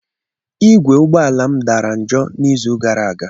Igwe ụgbọ ala m dara njọ n'izu gara aga.